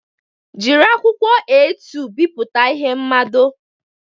Jiri akwụkwọ A2 bipụta ihe mmado.